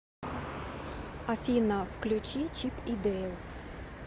афина включи чип и дейл